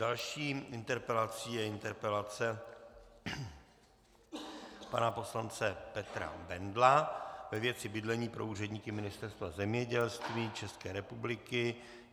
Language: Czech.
Další interpelací je interpelace pana poslance Petra Bendla ve věci bydlení pro úředníky Ministerstva zemědělství České republiky.